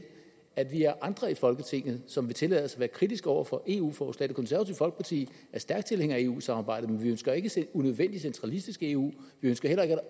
at vi er andre i folketinget som vil tillade os at være kritiske over for eu forslag det konservative folkeparti er stærk tilhænger af eu samarbejdet men vi ønsker ikke at se et unødvendigt centralistisk eu vi ønsker heller ikke at